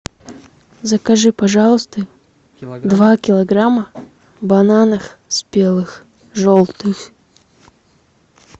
закажи пожалуйста два килограмма бананов спелых желтых